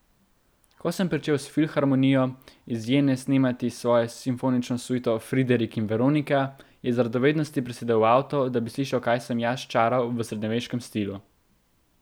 Ko sem pričel s Filharmonijo iz Jene snemati svojo simfonično suito Friderik in Veronika, je iz radovednosti prisedel v avto, da bi slišal, kaj sem jaz sčaral v srednjeveškem stilu.